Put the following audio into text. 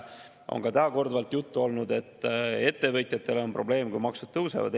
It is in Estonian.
See on see, millest on ka täna korduvalt juttu olnud, et ettevõtjatel on probleem, kui maksud tõusevad.